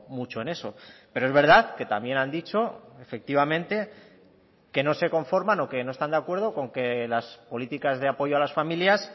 mucho en eso pero es verdad que también han dicho efectivamente que no se conforman o que no están de acuerdo con que las políticas de apoyo a las familias